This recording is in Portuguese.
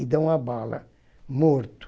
e dão uma bala morto.